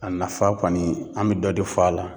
A nafa kɔni an be dɔ de fɔ a la.